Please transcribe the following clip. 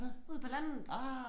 Ude på landet